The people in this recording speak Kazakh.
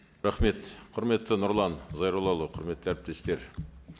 рахмет құрметті нұрлан зайроллаұлы құрметті әріптестер